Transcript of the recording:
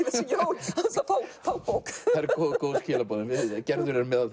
fá bók góð skilaboð en Gerður er meðal